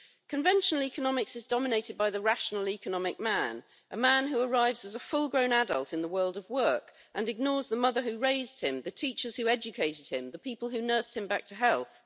Conventional economics is dominated by the rational economic man, a man who arrives as a full grown adult in the world of work and ignores the mother who raised him, the teachers who educated him, the people who nursed him back to health.